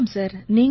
வணக்கம் சார்